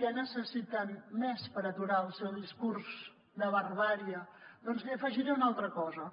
què necessiten més per aturar el seu discurs de barbàrie doncs hi afegiré una altra cosa